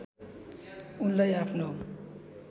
उनलाई आफ्नो